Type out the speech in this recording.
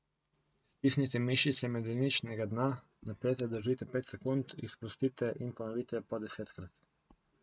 Stisnite mišice medeničnega dna, napete držite pet sekund, jih sprostite in ponovite po desetkrat.